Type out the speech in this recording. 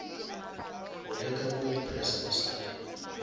go leka go impressa basadi